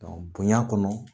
bonya kɔnɔ